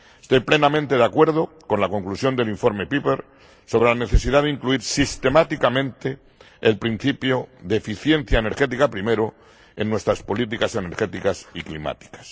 Estoy plenamente de acuerdo con la conclusión del informe Pieper sobre la necesidad de incluir sistemáticamente el principio de eficiencia energética primero en nuestras políticas energéticas y climáticas.